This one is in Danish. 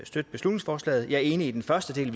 støtte beslutningsforslaget jeg er enig i den første del